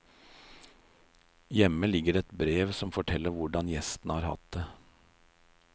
Hjemme ligger det et brev som forteller hvordan gjestene har hatt det.